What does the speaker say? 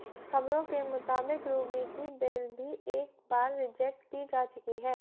खबरों के मुताबिक रूबी की बेल भी एक बार रिजेक्ट की जा चुकी है